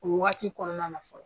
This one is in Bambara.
O wagati kɔnɔna na fɔlɔ